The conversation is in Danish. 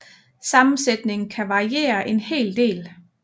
Sammensætningen kan variere en hel del